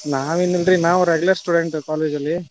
ನಾವ್ ಏನಿಲ್ರೀ, ನಾವ್ regular student college ಅಲ್ಲಿ .